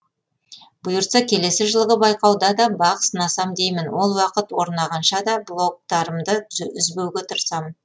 бұйыртса келесі жылғы байқауда да бақ сынасам деймін ол уақыт орнағанша да блогтарымды үзбеуге тырысамын